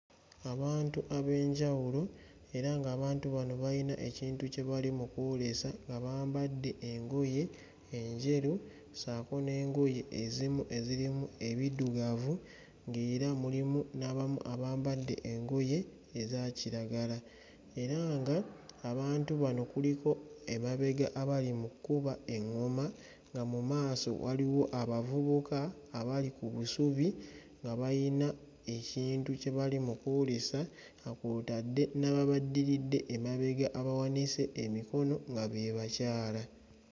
Abantu ab'enjawulo era ng'abantu bano bayina ekintu kye bali mu kuwuliza nga bambadde engoye enjeru ssaako n'engoye ezimu enzirimu ebiddugavu ng'era mulimu n'abamu abambadde engoye eza kiragala era ng'abantu kuliko emabega abali mu kkuba eŋŋoma nga mu maaso waliwo abavubuka abali ku busubi nga bayina ekintu kye bali mu kuwuliza nga kw'otadde n'ababaddiridde emabega abawanise emikono nga be bakyala.